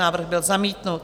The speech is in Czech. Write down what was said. Návrh byl zamítnut.